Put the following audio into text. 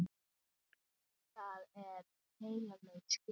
Það er heilög skylda.